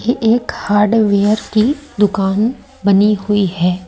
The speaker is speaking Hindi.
ये एक हार्डवेयर की दुकान बनी हुई है।